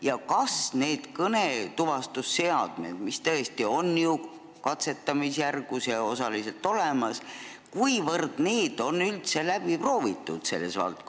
Ja kas need kõnetuvastusseadmed, mis on katsetamisjärgus ja osaliselt olemas, on üldse läbi proovitud?